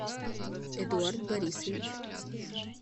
эдуард борисович